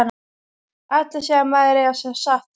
Allir segja að maður eigi að segja satt.